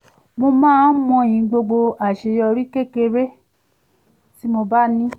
mo máa ń mọyì gbogbo àṣeyorí kékeré tí mo bá ní